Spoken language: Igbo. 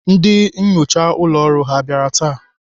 Ndị nnyocha ụlọ ọrụ ha bịara taa?